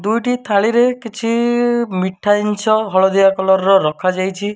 ଦୁଇଟି ଥାଳିରେ କିଛି ମିଠା ଜିନିଷ ହଳଦିଆ କଲର୍ ର ରଖାଯାଇଛି।